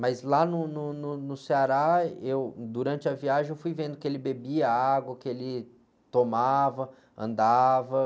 Mas lá no, no, no, no Ceará, durante a viagem, eu fui vendo que ele bebia água, que ele tomava, andava.